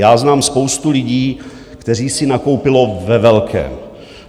Já znám spoustu lidí, kteří si nakoupili ve velkém.